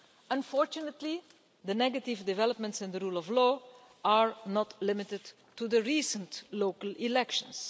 Unfortunately, the negative developments in the rule of law are not limited to the recent local elections.